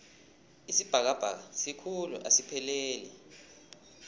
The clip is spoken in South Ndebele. isibhakabhaka sikhulu asipheleli